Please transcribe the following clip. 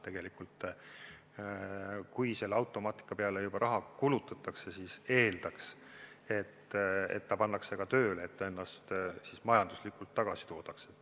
Tegelikult, kui automaatika peale juba raha kulutatakse, siis eeldaks, et see pannakse ka tööle, et see ennast majanduslikult tagasi toodaks.